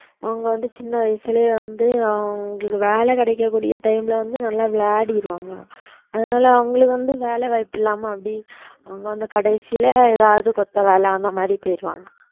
அவங்க வந்து சின்ன வயசுலயே வந்து அவங்களுக்கு வேலை கிடைக்கக்கூடிய time ல வந்து நல்லா விளையாடிருவாங்க அதனால அவங்களுக்கு வந்து வேலை வாய்ப்பு இல்லாம அப்படியே அவங்க வந்து கடைசியில ஏதாவது கொத்து வேலை அந்த மாதிரி போயிடுவாங்க